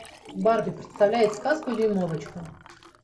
барби представляет сказку дюймовочка